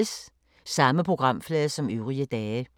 Samme programflade som øvrige dage